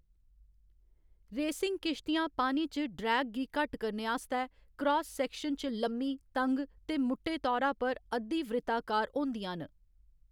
Racing किश्तियां पानी च ड्रैग गी घट्ट करने आस्तै क्रास सैक्शन च लम्मी, तंग ते मुट्टे तौरा पर अद्धी वृत्ताकार होंदियां न।